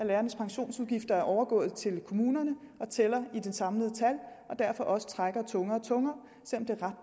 lærernes pensionsudgifter er overgået til kommunerne og tæller i de samlede tal og derfor også trækker tungere og tungere